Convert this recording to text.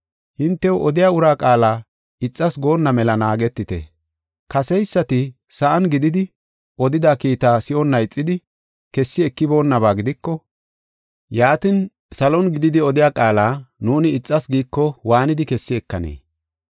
Hintew odiya ura qaala ixas goonna mela naagetite. Kaseysati sa7an gididi odida kiita si7onna ixidi, kessi ekiboonnaba gidiko, yaatin, salon gididi odiya qaala nuuni ixas giiko waanidi kessi ekanee?